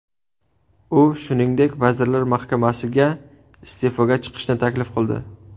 U, shuningdek, Vazirlar Mahkamasiga iste’foga chiqishni taklif qildi .